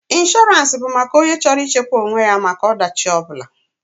Inshọrance bụ maka onye chọrọ ị chekwa onwe ya maka ọ dachi ọ bụla.